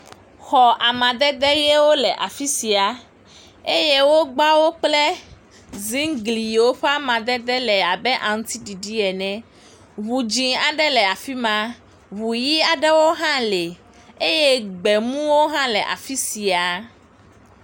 Xɔ amadede ʋewo le afi sia, eye wogba wo kple zingli yiwo ƒe amadedewo le abe aŋutiɖiɖiɖ ene, ŋu dzɛ̃ aɖe le afi ma, ŋu ʋɛ̃ aɖewo hã le eye gbemuwo hã le afi sia.